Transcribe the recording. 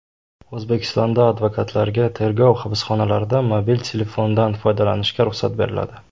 O‘zbekistonda advokatlarga tergov hibsxonalarida mobil telefondan foydalanishga ruxsat beriladi.